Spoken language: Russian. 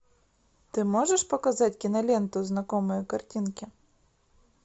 ты можешь показать киноленту знакомые картинки